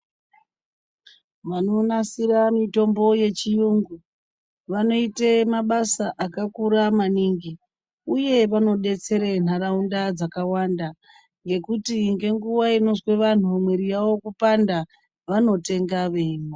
Vanonasira mitombo yechiyungu vanoite mabasa akakura maningi uye vanodetsera nharaunda dzakawanda ngekuti ngenguwa inozwa antu mwiri yawo kupanda vanotenga veimwa.